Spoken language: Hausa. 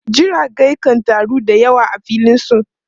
Jirage kan taru da yawa a filin su.